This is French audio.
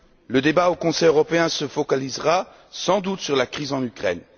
Le débat au Conseil européen se focalisera sans doute sur la crise en Ukraine.